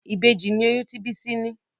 Ìbejì ní oyún tí Bisi ní.